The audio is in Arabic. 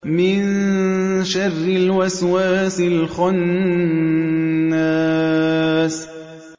مِن شَرِّ الْوَسْوَاسِ الْخَنَّاسِ